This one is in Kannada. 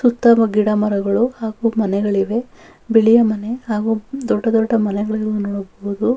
ಸುತ್ತವೂ ಗಿಡ ಮರಗಳು ಹಾಗು ಮನೆಗಳಿವೆ ಬಿಳಿಯ ಮನೆ ಹಾಗೂ ದೊಡ್ಡ ದೊಡ್ಡ ಮನೆಗಳನ್ನು ನೋಡಬಹುದು.